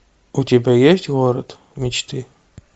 у тебя есть город мечты